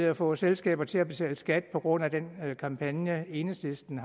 at få selskaber til at betale skat på grund af den kampagne enhedslisten